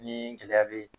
Ni gɛlɛya be yen